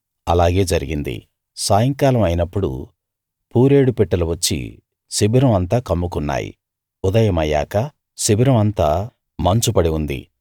అలాగే జరిగింది సాయంకాలం అయినప్పుడు పూరేడు పిట్టలు వచ్చి శిబిరం అంతా కమ్ముకున్నాయి ఉదయమయ్యాక శిబిరం అంతా మంచు పడి ఉంది